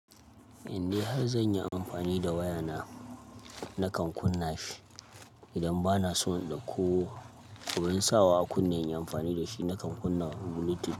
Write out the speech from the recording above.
Indai har zan yi amfani da wayana nakan kunna shi. Idan bana so in ɗauko ko abin sawa a kunne in yi amfani da shi nakan kunna Bluetooth.